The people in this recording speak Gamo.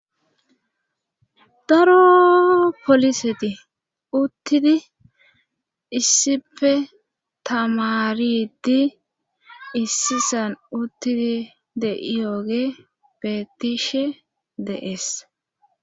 daro poliseti uttidi issipe tamaridi issisan uttidi de iyooge petishe deees